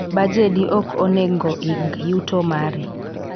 Bajedi ok onego ing yuto mari